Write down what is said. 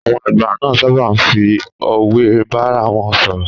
Àwọn àgbà ma sábà fi òwe bárawon sọ̀rọ̀.